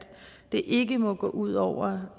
det ikke må gå ud over